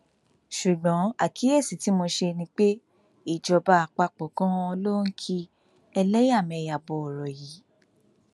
ṣùgbọn àkíyèsí tí mo ṣe ni pé ìjọba àpapọ ganan ló ń ki ẹlẹyàmẹyà bọ ọrọ yìí